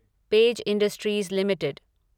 page Industries limited